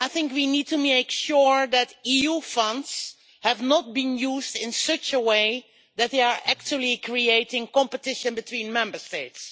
We need to make sure that EU funds have not been used in such a way that they are actually creating competition between Member States.